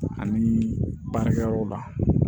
Ani baarakɛyɔrɔ la